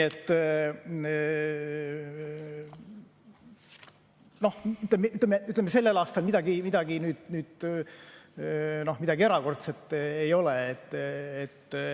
Noh, ütleme, sellel aastal midagi erakordset ei ole.